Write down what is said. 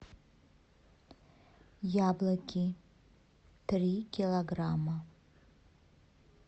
яблоки три килограмма